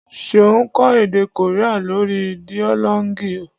Seun ń kọ́ èdè Korea lórí Duolingo